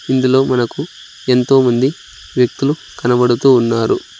ఇందులో మనకు ఎంతో మంది వ్యక్తులు కనబడుతూ ఉన్నారు.